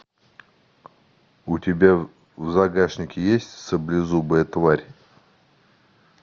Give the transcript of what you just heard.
у тебя в загашнике есть саблезубая тварь